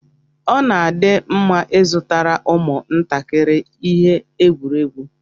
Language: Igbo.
Ọ dị mma ịzụtara ụmụ ntakịrị ihe egwuregwu.